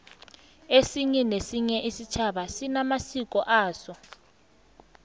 esinye nesinye isitjhaba sinamasiko aso